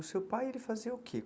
O seu pai, ele fazia o quê?